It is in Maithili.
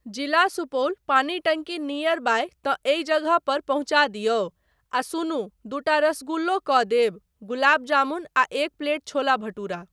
जिला सुपौल पानी टंकी नीयर बाय तँ एहि जगह पर पहुँचा दिऔ आ सुनू दूटा रसगुल्लो कऽ देब, गुलाब जामुन आ एक प्लेट छोला भठूरा।